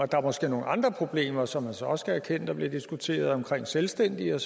der er måske nogle andre problemer som man så også kan erkende at der blev diskuteret omkring selvstændige